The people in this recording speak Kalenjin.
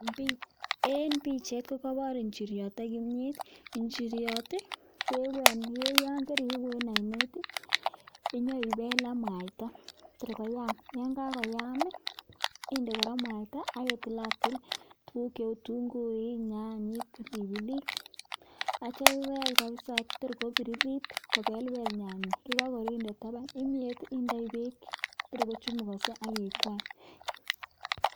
En pichait ko kobor injiryot ak kimyet. Injiryot ii ke ko yon keriibu en oinet ii, inyon ibel ak mwaita tor koyam, yon kagoyam, inde kora mwaita ak itilatil tuguk cheu: kitunguik, nyanyik, pilipiliik. Ak yeityo ibel kabisa to kobiririt, kobelbel nyanyik ye kagorur inde taban. Kimyet indoi beek tor kochumugoso ak ikwany.